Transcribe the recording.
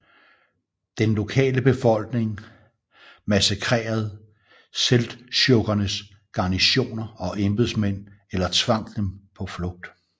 Den lokale befolkning massakrerede Seldsjukkernes garnisoner og embedsmænd eller tvang dem på flugt